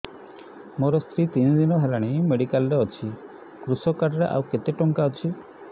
ମୋ ସ୍ତ୍ରୀ ତିନି ଦିନ ହେଲାଣି ମେଡିକାଲ ରେ ଅଛି କୃଷକ କାର୍ଡ ରେ ଆଉ କେତେ ଟଙ୍କା ଅଛି